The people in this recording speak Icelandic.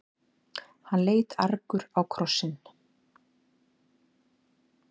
Hann leit argur á krossinn.